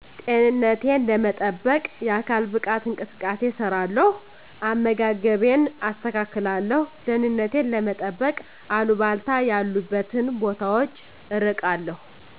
ጤንነቴን ለመጠበቅ የአካል ብቃት እንቅስቃሴ እሰራለው አመጋገብን አስተካክላለሁ ደህንነቴን ለመጠበቅ አልባልታ ያሉበትን ቦታወች እርቃለው